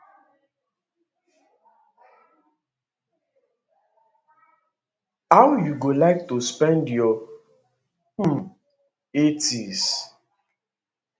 how you go like to spend your um 80s